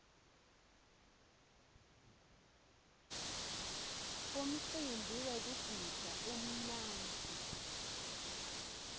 umcimbi wekugidza umnandzi